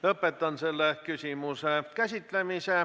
Lõpetan selle küsimuse käsitlemise.